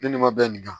Ne ni ma bɛn nin kan